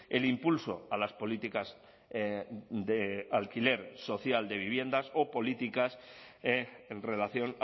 el impulso a las políticas de alquiler social de viviendas o políticas en relación